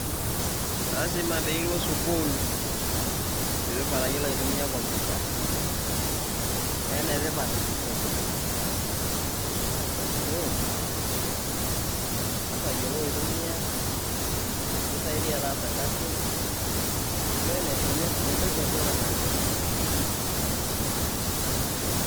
Laasima piiloo suukul pii itipaat eteiyeloo aitumia kompyutaa. Nee netipaat kompyutaa amu ing'aas aiyeloo atumia pii kisaidia taasa ilkasin. Nee ene, entoki tipaat naleng kompyutaa, ashe.